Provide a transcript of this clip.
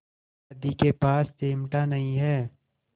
दादी के पास चिमटा नहीं है